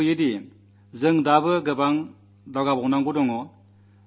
മാധ്യമങ്ങളിലെ സുഹൃത്തുക്കളും സൃഷ്ടിപരമായ പങ്കുവഹിച്ചു